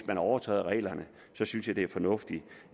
overtræder reglerne synes jeg det er fornuftigt